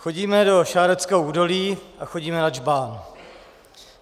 Chodíme do Šáreckého údolí a chodíme na Džbán.